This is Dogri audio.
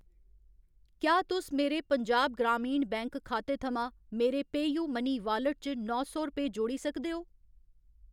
क्या तुस मेरे पंजाब ग्रामीण बैंक खाते थमां मेरे पेऽयूमनी वालेट च नौ सौ रपेऽ जोड़ी सकदे ओ ?